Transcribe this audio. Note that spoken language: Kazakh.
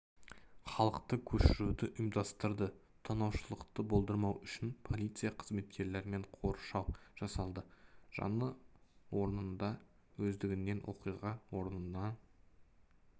халықты көшіруді ұйымдастырды тонаушылықты болдырмау үшін полиция қызметкерлерімен қоршау жасалды жану орнында өздігінен оқиға орнынан